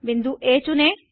बिंदु आ चुनें